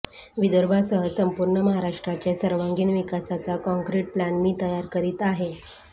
विदर्भासह संपूर्ण महाराष्ट्राच्या सर्वांगीण विकासाचा काँक्रीट प्लॅन मी तयार करीत आहे